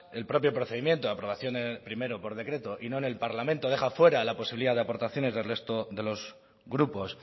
el propio procedimiento aprobación primero por decreto y no en el parlamento deja fuera la posibilidad de aportaciones del resto de los grupos